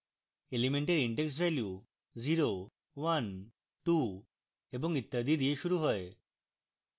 elements index value 012 এবং ইত্যাদি দিয়ে শুরু হয়